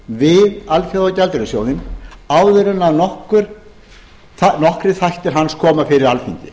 við alþjóðagjaldeyrissjóðinn áður en nokkrir þættir hans koma fyrir alþingi